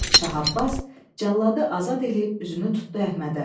Şah Abbas cəlladı azad eləyib üzünü tutdu Əhmədə.